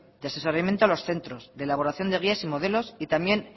de asesoramiento a los centros de elaboración de guías y modelos y también